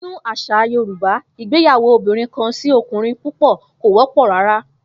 Nínú às̩à Yorùbá, ìgbáyàwó obìnrin-kan-sí-o̩kùnrin-púpò̩ kò wó̩pò̩ rárá